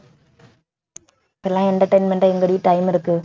இப்ப எல்லாம் entertainment எங்கடி time இருக்கு